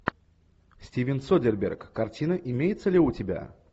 стивен содерберг картина имеется ли у тебя